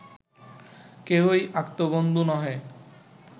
কেহই আত্মবন্ধু নহে